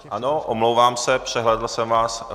Ano, omlouvám se, přehlédl jsem vás.